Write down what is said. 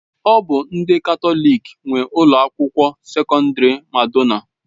Ọ bụ ndị Katọlik nwe Ụlọ akwụkwọ sekọndrị Madonna.